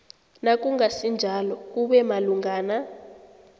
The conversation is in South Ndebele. nakungasinjalo kube malungana